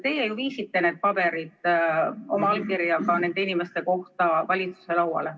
Teie ju viisite need paberid oma allkirjaga valitsuse lauale.